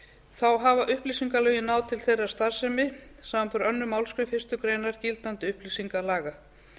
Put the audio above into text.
þá hafa upplýsingalögin náð til þeirrar starfsemi samanber aðra málsgrein fyrstu grein gildandi upplýsingalaga